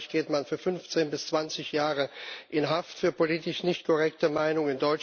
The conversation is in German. In Österreich geht man für 15 bis 20 Jahre in Haft für politisch nicht korrekte Meinung.